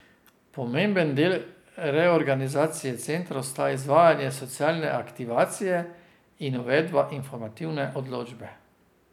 Pomemben del reorganizacije centrov sta izvajanje socialne aktivacije in uvedba informativne odločbe.